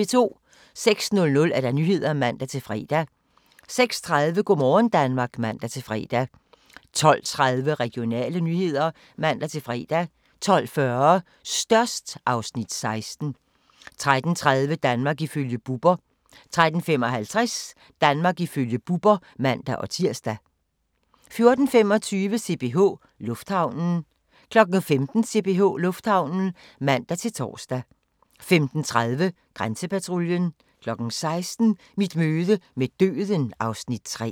06:00: Nyhederne (man-fre) 06:30: Go' morgen Danmark (man-fre) 12:30: Regionale nyheder (man-fre) 12:40: Størst (Afs. 16) 13:30: Danmark ifølge Bubber 13:55: Danmark ifølge Bubber (man-tir) 14:25: CPH Lufthavnen 15:00: CPH Lufthavnen (man-tor) 15:30: Grænsepatruljen 16:00: Mit møde med døden (Afs. 3)